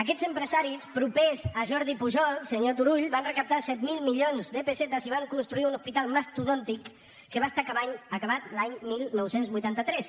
aquests empresaris propers a jordi pujol senyor turull van recaptar set mil milions de pessetes i van construir un hospital mastodòntic que va estar acabat l’any dinou vuitanta tres